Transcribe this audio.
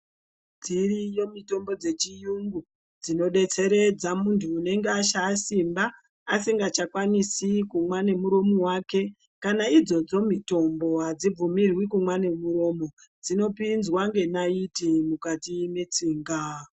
Dziriyo mitombo dzechirungu dzinodetseredza muntu anenge ashaya Simba asingachakwanisi kumwa nemuromo wake kana idzodzo mitombo adzibvumirwi kugumidza muntu unenge ashaya Simba asingachakwanisi kumwa nemuromo wake kana idzodzo mitombo adzibvumirwi kumwa nemiromo dzinopinzwa nenaiti mukati metsinga.